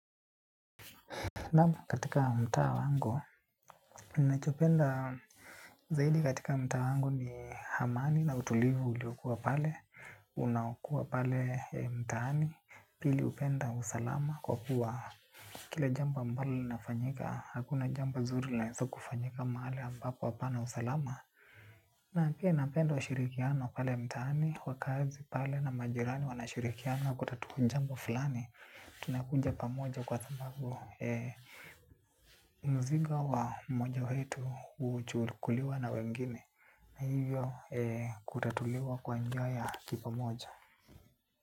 Nam katika mtaa wangu, ninachopenda zaidi katika mtaa wangu ni amani na utulivu uliokua pale, unaokua pale mtaani, pili hupenda usalama kwa kuwa kila jambo ambalo linafanyika, hakuna jambo zuri linaweza kufanyika mahali ambapo hapana usalama. Na pia napenda ushirikiano pale mtaani, wakazi pale na majirani wanashirikiana kutatua jambo fulani. Tunakuja pamoja kwasababu, mzigo wa mmoja wetu huchukuliwa na wengine. Na hivyo kutatuliwa kwa njia ya kipamoja.